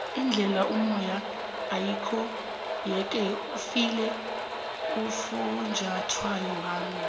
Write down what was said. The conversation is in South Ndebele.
indlel'omoya ayikho yeke ufile ufunjathwako wami